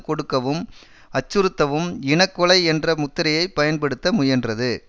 கொடுக்கவும் அச்சுறுத்தவும் இன கொலை என்ற முத்திரையைப் பயன்படுத்த முயன்றது